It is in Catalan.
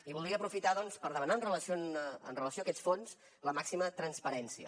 i voldria aprofitar doncs per demanar amb relació a aquests fons la màxima transparència